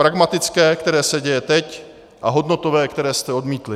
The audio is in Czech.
Pragmatické, které se děje teď, a hodnotové, které jste odmítli.